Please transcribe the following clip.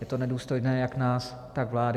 Je to nedůstojné jak nás, tak vlády.